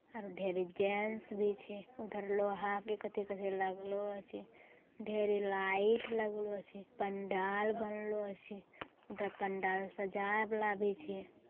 औरो ढ़ेरी जेंट्स भी छे | उधर लोहा के कथे कथे लगलो छे | ढ़ेरी लाइट लगलो छे पंडाल बनलो छे उधर पंडाल सजाये वाला भी छे ।